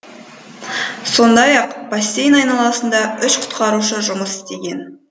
сондай ақ бассейн айналасында үш құтқарушы жұмыс істеген